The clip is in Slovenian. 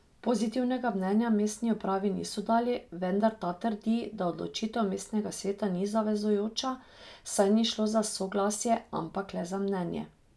Pozitivnega mnenja mestni upravi niso dali, vendar ta trdi, da odločitev mestnega sveta ni zavezujoča, saj ni šlo za soglasje, ampak le za mnenje.